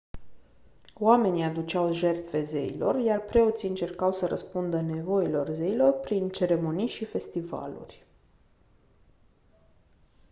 oamenii aduceau jertfe zeilor iar preoții încercau să răspundă nevoilor zeilor prin ceremonii și festivaluri